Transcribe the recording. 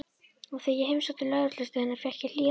Og þegar ég heimsótti lögreglustöðina fékk ég hlýjar móttökur.